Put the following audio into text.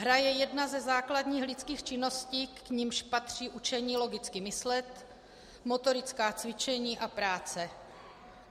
Hra je jedna ze základních lidských činností, k nimž patří učení logicky myslet, motorická cvičení a práce.